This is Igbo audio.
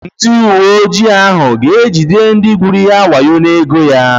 Ndị uweojii ahụ ga-ejide ndị gwuru ya wayo n'ego ya.